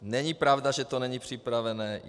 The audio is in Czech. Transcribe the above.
Není pravda, že to není připravené.